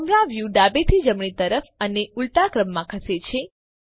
camera view ડાબેથી જમણી તરફ અને ઉલટાક્રમમાં ખસે છે